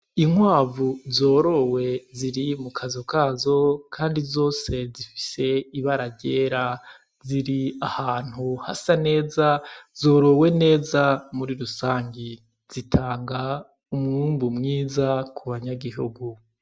Inkwavu zorowe ziri mu kazu kazo kandi zose zifise ibara ryera. Ziri ahantu hasa neza zorowe neza muri rusange. Zitanga umwumbu mwiza ku banyagihugu.